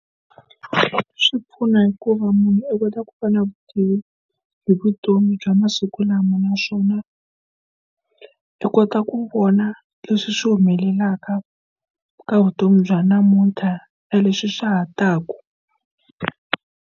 Swi pfuna hikuva munhu u kota ku fana na vutivi hi vutomi bya masiku lama naswona u kota ku vona leswi swi humelelaka ka vutomi bya namunthla ya leswi swa ha taka.